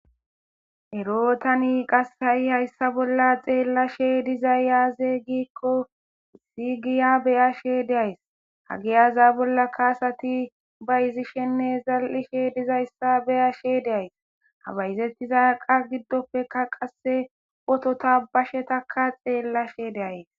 Ero tani qassayi hayssa bolla xeellashe dizay aze giikko giya beyashe deays ha giyaza bolla kaasati bayizishenne zal'ishe dizayssa beyashe deays habayzettizaqa giddoppeka qasse potota bashetakka xeellashe de'ays